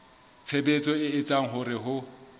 tshebetso e etsang hore ho